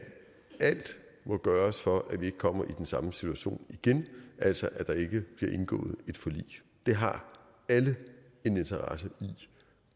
alt må gøres for at vi ikke kommer i den samme situation igen altså at der ikke bliver indgået et forlig det har alle en interesse i